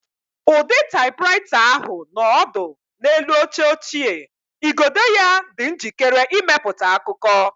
Ụdị typewriter ahụ nọ ọdụ n'elu oche ochie, igodo ya dị njikere ịmepụta akụkọ.